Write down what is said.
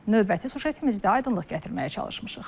Növbəti süjetimizdə aydınlıq gətirməyə çalışmışıq.